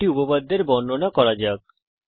একটি উপপাদ্যের বর্ণনা করা যাক